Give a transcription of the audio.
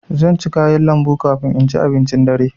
Zan ci kayan lambu kafin in ci abincin dare.